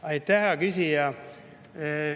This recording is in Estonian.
Aitäh, hea küsija!